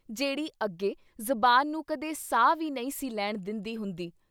ਜੇੜ੍ਹੀ ਅੱਗੇ ਜ਼ੁਬਾਨ ਨੂੰ ਕਦੇ ਸਾਹ ਵੀ ਨਹੀਂ ਸੀ ਲੈਣ ਦਿੰਦੀ ਹੁੰਦੀ।